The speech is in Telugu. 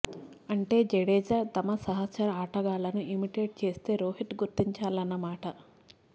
అంటే జడేజా తమ సహచర ఆటగాళ్లను ఇమిటేట్ చేస్తే రోహిత్ గుర్తించాలన్నమాట